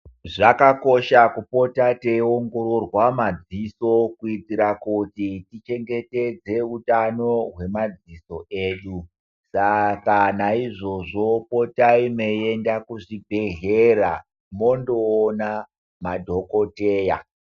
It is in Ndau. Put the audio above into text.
Zvakakosha kupota teiongororwa madziso kuitira kuti tichengetedze utano hwemadziso edu, Saka naizvozvo potai meiyenda kuzvibhedhlera mondoona madhokoteya.